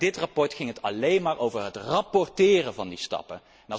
Bij dit verslag ging het alleen maar over het rapporteren van die stappen.